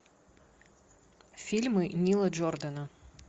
фильмы нила джордана